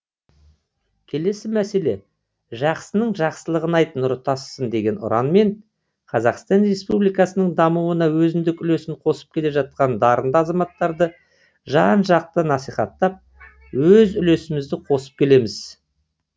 келесі мәселе жақсының жақсылығын айт нұры тасысын деген ұранмен қазақстан республикасының дамуына өзіндік үлесін қосып келе жатқан дарынды азаматтарды жан жақты насихаттап өз үлесімізді қосып келеміз